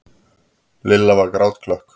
Lilla var grátklökk.